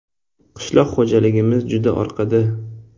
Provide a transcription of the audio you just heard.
“Qishloq xo‘jaligimiz juda orqada.